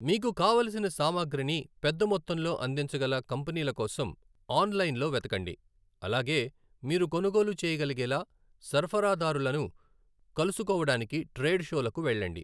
మీకు కావలసిన సామాగ్రిని పెద్దమొత్తంలో అందించగల కంపెనీలకోసం ఆన్లైన్ లో వెతకండి, అలాగే మీరు కొనుగోలు చేయగలిగేలా సరఫరదారులను కలుసుకోవడానికి ట్రేడ్ షోలకు వెళ్ళండి.